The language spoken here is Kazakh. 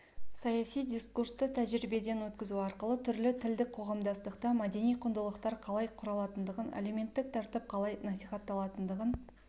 саяси дискурсты тәжірибеден өткізу арқылы түрлі тілдік қоғамдастықта мәдени құндылықтар қалай құралатындығын әлеуметтік тәртіп қалай насихатталатындығын